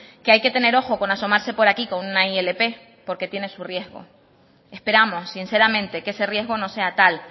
que hay que tener ojo con asomarse por aquí con una ilp porque tiene su riesgo esperamos sinceramente que ese riesgo no sea tal